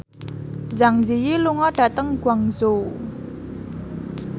Zang Zi Yi lunga dhateng Guangzhou